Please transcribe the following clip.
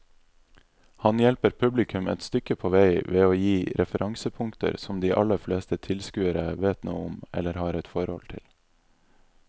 Han hjelper publikum et stykke på vei ved å gi referansepunkter som de aller fleste tilskuere vet noe om eller har et forhold til.